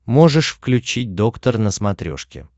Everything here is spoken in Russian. можешь включить доктор на смотрешке